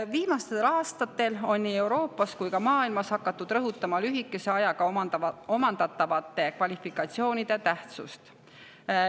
Viimastel aastatel on nii Euroopas kui ka maailmas hakatud rõhutama lühikese ajaga omandatavate kvalifikatsioonide tähtsust.